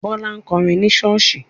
Bọ́lá ń kọrin ni ṣọ́ọ̀ṣì.